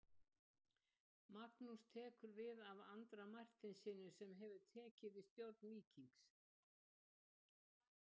Magnús tekur við af Andra Marteinssyni sem hefur tekið við stjórn Víkings.